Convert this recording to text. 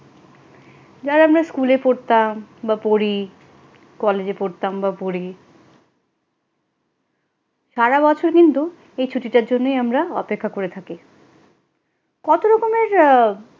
যারা আমরা স্কুলে পড়তাম বা পরি, কলেজে পড়তাম বা পরি সারা বছর কিন্তু এই ছুটিটার জন্যই আমরা অপেক্ষা করে থাকি কত রকমের আ,